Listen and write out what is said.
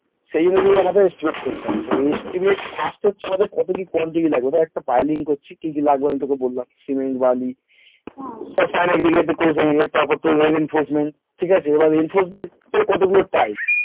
সেই অনুযায়ী আমাদের estimate করতে হয় তো estimate first হচ্ছে আমাদের কত কি quantity লাগবে ধর একটা Piling করছি কি কি লাগবে আমি তোকে বললাম সিমেন্ট বালি ঠিক আছে এবার এইসব এর কত গুলো type